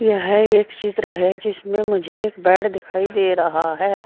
यह एक चित्र है जिसमें मुझे एक बेड दिखाई दे रहा है।